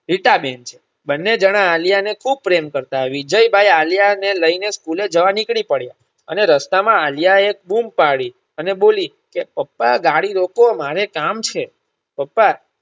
રીટા બેન છે. બંને જણા આલ્યાને ખુબ પ્રેમ કરતા વીજયભાઈ આલ્યાને School જવા નીકળી પડ્યા અને રસ્તામાં આલ્યાએ બુમ્બ પડી અને બોલી પપ્પા ગાડી રોકો મારે કામ છે. પપ્પા